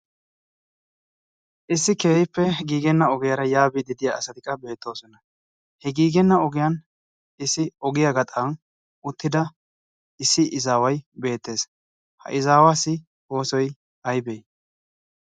issi keehippe giigenna ogiyaara yaabi didiya asati qa beettoosona. he giigenna ogiyan issi ogiyaa gaxan uttida issi izaawai beettees. ha izaawaassi oosoi aybee?